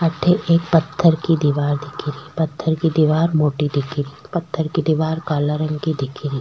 अठे एक पत्थर की दीवार दिख री पत्थर की दीवार मोटी दिख री पत्थर की दीवार काला रंग की दिख री।